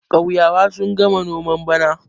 ƙauyawa sun gama noman bana